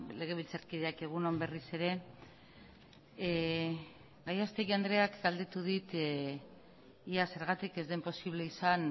legebiltzarkideak egun on berriz ere gallastegui andreak galdetu dit ea zergatik ez den posible izan